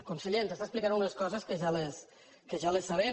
conseller ens està explicant unes coses que ja les sabem